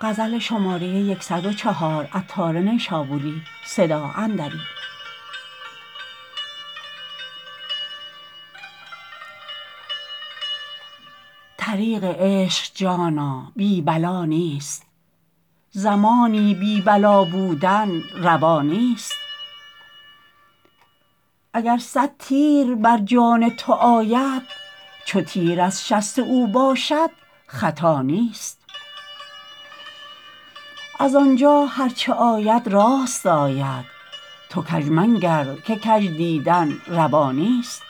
طریق عشق جانا بی بلا نیست زمانی بی بلا بودن روا نیست اگر صد تیر بر جان تو آید چو تیر از شست او باشد خطا نیست از آنجا هرچه آید راست آید تو کژمنگر که کژ دیدن روا نیست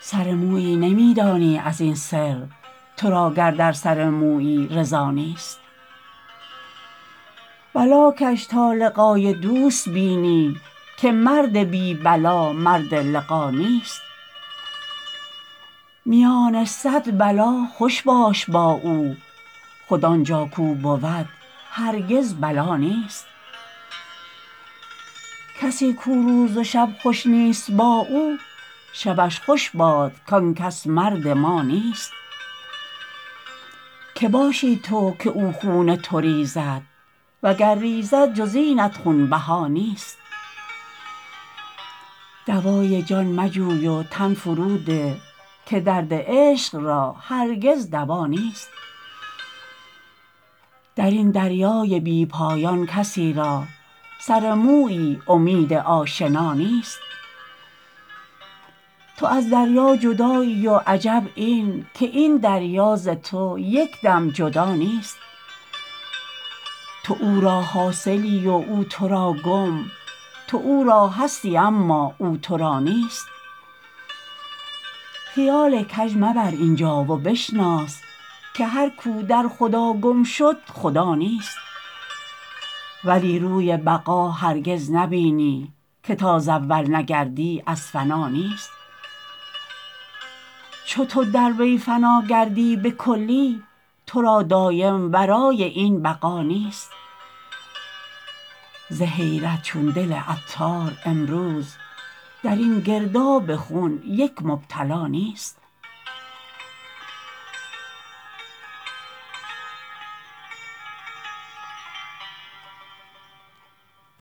سر مویی نمی دانی ازین سر تو را گر در سر مویی رضا نیست بلاکش تا لقای دوست بینی که مرد بی بلا مرد لقا نیست میان صد بلا خوش باش با او خود آنجا کو بود هرگز بلا نیست کسی کو روز و شب خوش نیست با او شبش خوش باد کانکس مرد ما نیست که باشی تو که او خون تو ریزد وگر ریزد جز اینت خون بها نیست دوای جان مجوی و تن فرو ده که درد عشق را هرگز دوا نیست درین دریای بی پایان کسی را سر مویی امید آشنا نیست تو از دریا جدایی و عجب این که این دریا ز تو یکدم جدا نیست تو او را حاصلی و او تورا گم تو او را هستی اما او تورا نیست خیال کژ مبر اینجا و بشناس که هر کو در خدا گم شد خدا نیست ولی روی بقا هرگز نبینی که تا ز اول نگردی از فنا نیست چو تو در وی فنا گردی به کلی تو را دایم ورای این بقا نیست ز حیرت چون دل عطار امروز درین گرداب خون یک مبتلا نیست